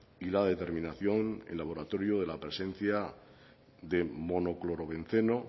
y la determinación el laboratorio de la presencia de monoclorobenceno